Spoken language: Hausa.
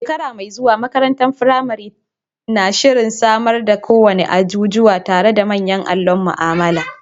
A shekara mai zuwa, makarantar firamare na shirin samar da kowane ajujuwa tare da manyan allon mu'amala.